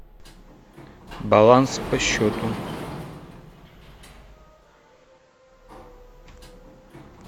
баланс по счету